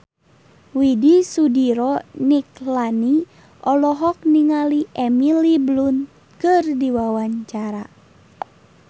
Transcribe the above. Widy Soediro Nichlany olohok ningali Emily Blunt keur diwawancara